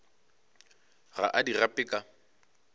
ga a di gape ka